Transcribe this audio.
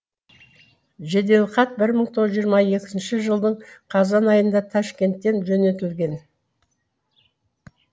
жеделхат бір мың тоғыз жүз жиырма екінші жылдың қазан айында ташкенттен жөнелтілген